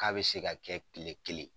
K'a bɛ se ka kɛ kile kelen.